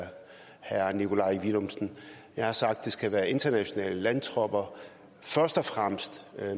herre nikolaj villumsen jeg har sagt at det skal være internationale landtropper først og fremmest